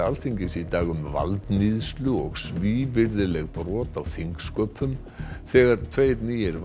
Alþingis í dag um valdníðslu og svívirðileg brot á þingsköpum þegar tveir nýir